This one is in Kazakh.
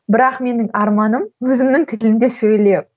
бірақ менің арманым өзімнің тілімде сөйлеу